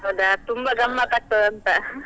ಹೌದಾ ತುಂಬಾ ಗಮ್ಮತ್ತ್ ಆಗ್ತದ ಅಂತ?